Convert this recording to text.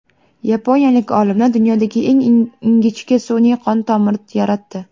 Yaponiyalik olimlar dunyodagi eng ingichka sun’iy qon tomiri yaratdi .